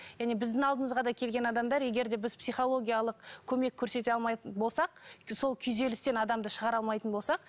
және біздің алдымызға да келген адамдар егер де біз психологиялық көмек көрсете алмайтын болсақ сол күйзелістен адамды шығара алмайтын болсақ